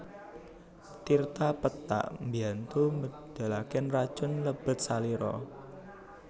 Tirta pethak mbiyantu medhalaken racun lebet salira